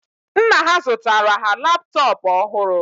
Nna ha zụtara ha laptop ọhụrụ